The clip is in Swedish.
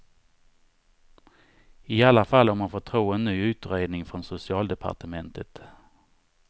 I alla fall om man får tro en ny utredning från socialdepartementet.